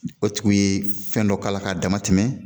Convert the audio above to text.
O tigiw ye fɛn dɔ k'a la k'a dama tɛmɛ